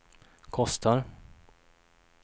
kostar